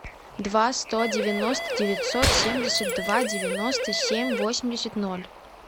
два сто девяносто девятьсот семьдесят два девяносто семь восемьдесят ноль